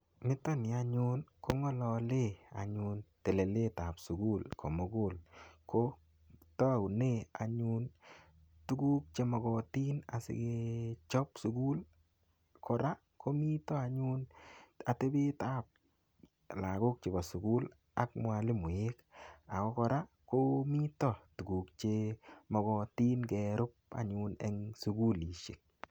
Nitoni anyun kongololen anyun telelet ap sukul komukul kotoune anyun tukuk chemokotin asike chop sukul kora komito anyun atepet ap lakok chepo sekul ak mwalimoek akokora komito tukuk chemokotin kerup eng sukulishek.